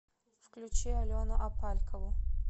включи алену апалькову